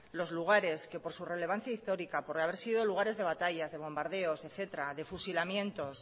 los lugares que por su relevancia histórica por haber sido lugares de batallas de bombardeos de fusilamientos